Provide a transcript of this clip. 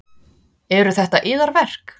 Eru þetta yðar verk?